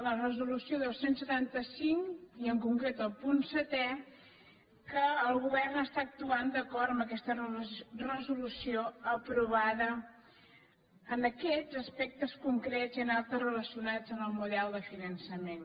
la resolu·ció dos cents i setanta cinc i en concret el punt setè que el govern actua d’acord amb aquesta resolució aprovada en aquests as·pectes concrets i en altres relacionats amb el model de finançament